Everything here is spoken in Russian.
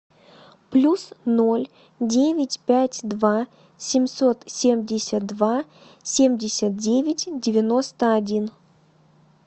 плюс ноль девять пять два семьсот семьдесят два семьдесят девять девяносто один